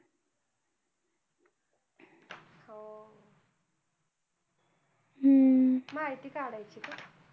हम्म माहिती काढायचं का?